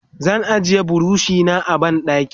zan ajiye burushi na a banɗaki